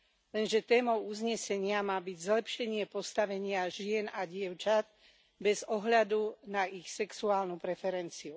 Lenže témou uznesenia má byť zlepšenie postavenia žien a dievčat bez ohľadu na ich sexuálnu preferenciu.